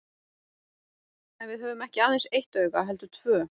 En við höfum ekki aðeins eitt auga heldur tvö.